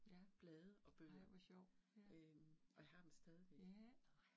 Ja, ej hvor sjovt. Ja